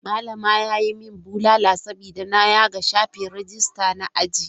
Malama ya yi min bulala saboda na yaga shafin rajista na aji.